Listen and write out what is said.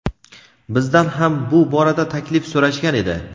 Bizdan ham bu borada taklif so‘rashgan edi.